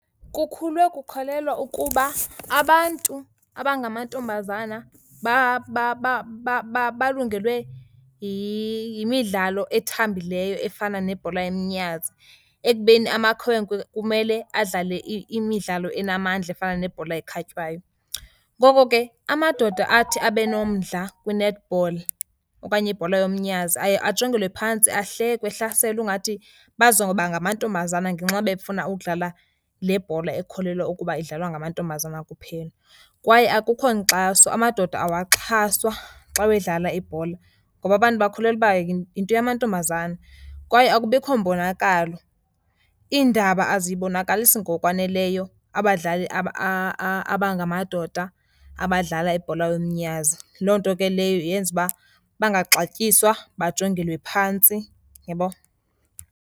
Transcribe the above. Kukhulwe kukholelwa ukuba abantu abangamantombazana balungelwe yimidlalo ethambileyo efana nebhola yomnyazi, ekubeni amakhwenkwe kumele adlale imidlalo enamandla efana nebhola ekhatywayo. Ngoko ke amadoda athi abe nomdla kwi-netball okanye ibhola yomnyazi aye ajongelwe phantsi ahlekwe, ehlaselwa ungathi bazoba ngamantombazana ngenxa befuna ukudlala le bhola ekukholelwa ukuba idlalwa ngamantombazana kuphela. Kwaye akukho nkxaso, amadoda awaxhaswa xa wedlala ibhola ngoba abantu bakholelwa uba yinto yamantombazana. Kwaye akubikho mbonakalo, iindaba azibonakalisi ngokwaneleyo abadlali abangamadoda abadlala ibhola yomnyazi. Loo nto ke leyo yenza uba bangaxatyiswa, bajongelwe phantsi, uyabo?